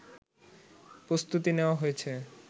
প্রস্তুতি নেওয়া হয়েছে